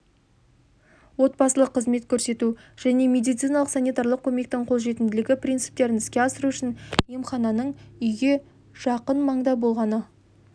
отбасылық қызмет көрсету және медициналық-санитарлық көмектің қолжетімділігі принциптерін іске асыру үшін емхананың үйге жақын маңда болғаны